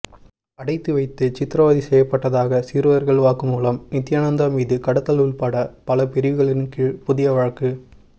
அடைத்து வைத்து சித்ரவதை செய்யப்பட்டதாக சிறுவர்கள் வாக்குமூலம் நித்தியானந்தா மீது கடத்தல் உள்பட பல பிரிவுகளின் கீழ் புதிய வழக்கு